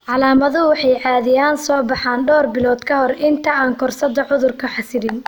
Calaamaduhu waxay caadi ahaan soo baxaan dhowr bilood ka hor inta aan koorsada cudurku xasilin.